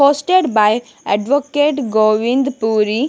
Posted by Advocate Govind puri.